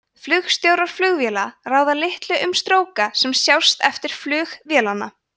flugstjórar flugvéla ráða litlu um stróka sem sjást eftir flug vélanna